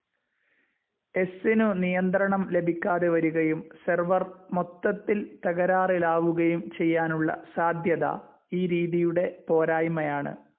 എസ്സ്നു നിയന്ത്രണം ലഭിക്കാതെ വരുകയും സെർവർ മൊത്തത്തിൽ തകരാറിലാവുകയും ചെയ്യാനുള്ള സാധ്യത ഈ രീതിയുടെ പോരായ്മയാണ്.